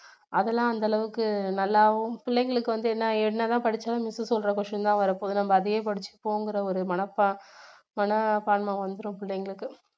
அதெல்லாம் அந்த அளவுக்கு நல்லாவும் பிள்ளைகளுக்கு வந்து என்ன என்னதான் படிச்சாலும் miss சொல்ற question தான் வரப் போகுது நம்ப அதையே படிச்சு போவோங்கற ஒரு மனப்பா~மனப்பான்மை வந்துடும் பிள்ளைகளுக்கு